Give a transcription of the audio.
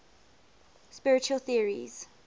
spiritual theories